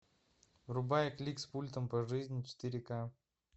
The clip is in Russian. врубай клик с пультом по жизни четыре к